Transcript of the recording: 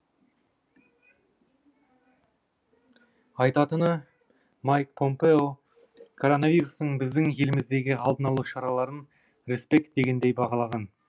айтатыны майк помпео коронавирустың біздің еліміздегі алдын алу шараларын респект дегендей бағалаған